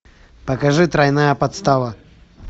покажи тройная подстава